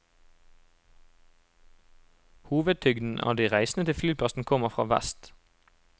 Hovedtyngden av de reisende til flyplassen kommer fra vest.